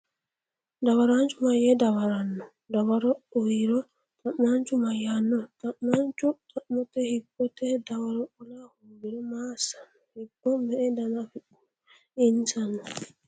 Dawaraanchu mayyee dawaranno? dawaro uyro, xa’maanchu mayyaanno? Xa’mamaanchu xa’mote hibbote dawaro qola hoogiro maa assanno? Hibbo me”e dana afidhino? Insana?